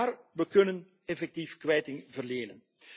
Maar we kunnen effectief kwijting verlenen.